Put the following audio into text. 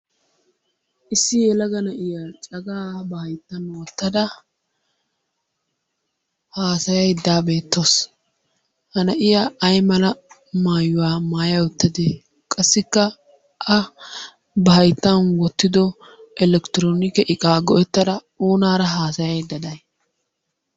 Issi yelaga na'iya cagaa ba hayttan wottada haasaydda beettawusu. Ha na'iya ay mala maayuwa maaya uttadee? Qassikka A ba hayttiyan wottidi Elekronikee iqaa go'ettada oonara haasaydda day?